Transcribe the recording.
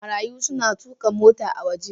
Marayun suna tuka mota a waje.